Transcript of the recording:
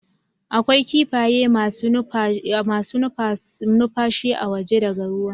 A kwai kifaye masu iya nufashi a waje daga ruwa